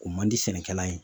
O man di sɛnɛkɛla ye.